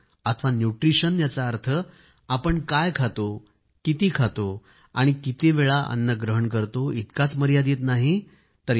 पोषण अथवा न्यूट्रिशन याचा अर्थ आपण काय खातो किती खातो आणि कितीवेळा अन्न ग्रहण करतो इतकाच मर्यादित नाही